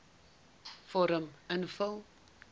vorm invul